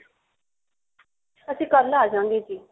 ਅਸੀਂ ਕੱਲ ਆ ਜਾਂਗੇ ਜੀ